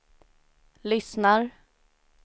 lyssnar